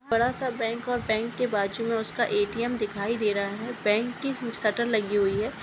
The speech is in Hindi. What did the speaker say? बड़ासा बैंक और बैंक के बाजू मे उसका ए.टी.एम दिखाए दे रहा है बैंक की सेटल लगी हुए है।